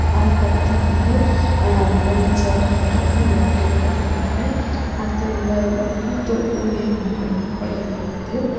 அதுக்கு அடுத்து வந்து ஆ ரெண்டு சேர் போட்ருக்கு ஒரு டேபிள்ருக்கு அடுத்து இந்த ஊத்து ஊதிவி மாரி உள்ள கொழல் இருக்குது.